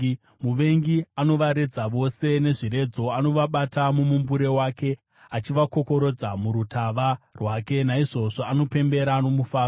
Muvengi anovaredza vose nezviredzo, anovabata mumumbure wake, achivakokorodza murutava rwake; naizvozvo anopembera nomufaro.